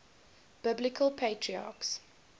biblical patriarchs